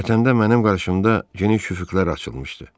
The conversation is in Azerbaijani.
Vətəndə mənim qarşımda geniş üfüqlər açılmışdı.